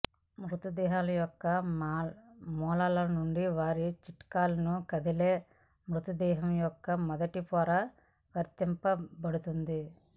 మృతదేహాల యొక్క మూలాల నుండి వారి చిట్కాలకు కదిలే మృతదేహం యొక్క మొదటి పొర వర్తించబడుతుంది